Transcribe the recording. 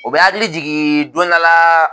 O bɛ hakili jigin don dɔ la